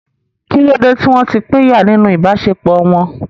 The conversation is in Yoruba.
Kí ló dé tí wọ́n ti pínyà nínú ìbáṣepọ̀ wọn?